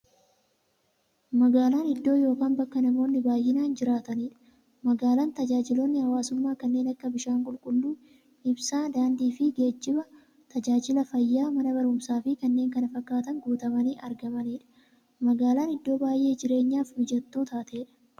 Magaalan iddoo yookiin bakka namoonni baay'inaan jiraataniidha. Magaalan bakka taajajilootni hawwaasummaa kanneen akka; bishaan qulqulluu, ibsaa, daandiifi geejjiba, taajajila fayyaa, Mana baruumsaafi kanneen kana fakkatan guutamanii argamaniidha. Magaalan iddoo baay'ee jireenyaf mijattuu taateedha.